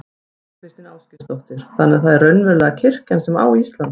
Þóra Kristín Ásgeirsdóttir: Þannig að það er raunverulega kirkjan sem á Ísland?